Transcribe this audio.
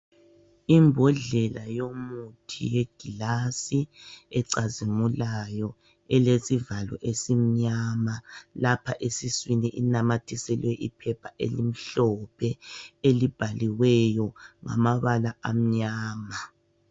Imbodlela yomuthi yegilasi ecazimulayo, elesivalo esimnyama lapha esiswini inamathiselwe iphepha elimhlophe, elibhaliweyo ngamabala amnyama.